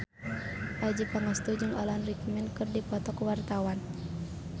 Adjie Pangestu jeung Alan Rickman keur dipoto ku wartawan